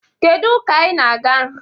Kedu ụka ị na-aga